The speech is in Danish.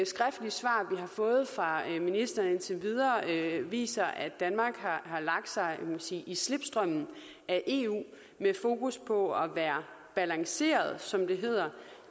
skriftlige svar vi har fået fra ministeren indtil videre viser at danmark har lagt sig man sige i slipstrømmen af eu med fokus på at være balanceret som det hedder